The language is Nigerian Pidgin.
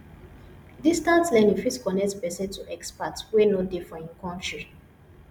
distance learning fit connect person to expert wey no dey for im country